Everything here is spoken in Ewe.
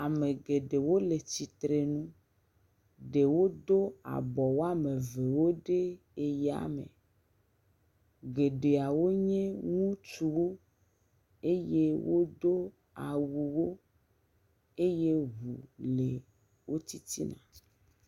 Ame geɖewo le tsitre nu. Ɖewo ɖo abɔ wɔme evewo ɖe eyame. Geɖeawo nye ŋutsuwo eye wodo awuwo eye ŋu le wo titina.